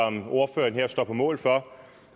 ordføreren her står på mål for